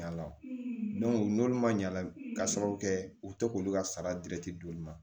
n'olu ma ɲa k'a sababu kɛ u tɛ k'olu ka sara don olu ma